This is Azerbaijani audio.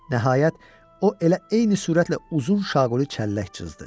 Nəhayət, o elə eyni sürətlə uzun şaquli çəllək cızdı.